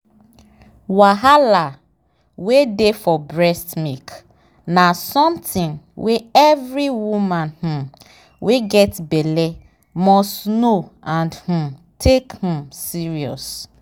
wahala wey dey for breast milk na something wey every woman um wey get belle must know and um take um serious.